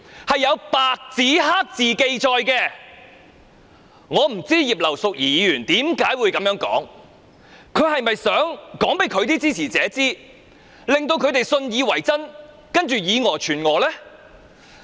我不知道葉劉淑儀議員何以會這樣說，她是否想藉此告訴她的支持者，讓他們信以為真，再以訛傳訛？